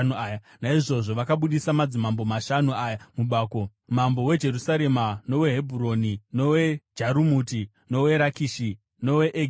Naizvozvo vakabudisa madzimambo mashanu aya mubako, mambo weJerusarema, noweHebhuroni, noweJarumuti, noweRakishi noweEgironi.